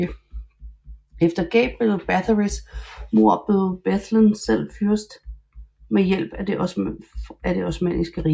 Efter Gabriel Báthorys mord blev Bethlen selv fyrst med hjælp af det Osmanniske Rige